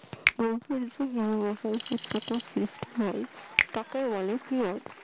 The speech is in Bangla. এরকম হিমবাহ উপত্যকার সৃষ্টি হয় তাকে বলে কিয়ত